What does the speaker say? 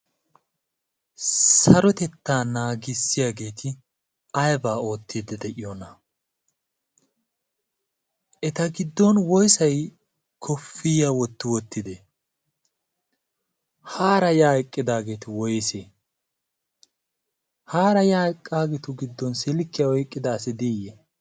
Sarotettaa naagissiyaageeti ayba oottiiddi de'iyoona? eta giddon woysay koofiyaya wotti wottide? hara ya eqaageeti woysse? haara yaa eqqaageetu giddon silkkiya oyqqida asi diyye?